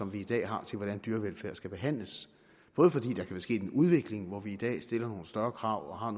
vi i dag har til hvordan dyr skal behandles både fordi der kan være sket en udvikling hvor vi i dag stiller nogle større krav og har